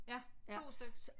Ja 2 styks